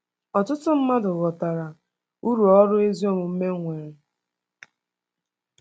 Ọtụtụ mmadụ ghọtara uru ọrụ ezi omume nwere.